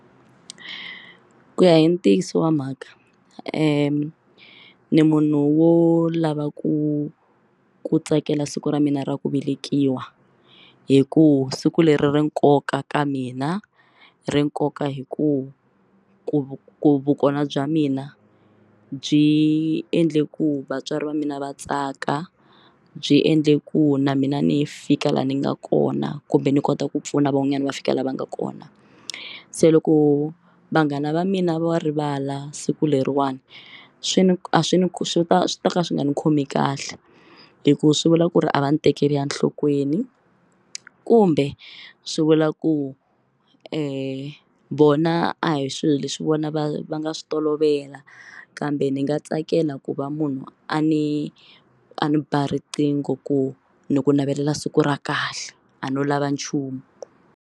Ku ya hi ntiyiso wa mhaka ni munhu wo lava ku ku tsakela siku ra mina ra ku velekiwa hi ku siku leri ri nkoka ka mina ri nkoka hi ku ku ku vukona bya mina byi endle ku vatswari va mina va tsaka byi endle ku na mina ni fika laha ni nga kona kumbe ni kota ku pfuna van'wanyani va fika la va nga kona se loko vanghana va mina va rivala siku leriwani swi ni a swi ni swi ta swi ta ka swi nga ndzi khomi kahle hikuva swi vula ku ri a va ni tekeli enhlokweni kumbe swi vula ku vona a hi swilo leswi vona va va nga swi tolovela kambe ni nga tsakela ku va munhu a ni a ni ba riqingho ku ni navela siku ra kahle a no lava nchumu.